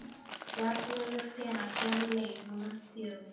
Bjarnlaugur, hvenær kemur leið númer fjögur?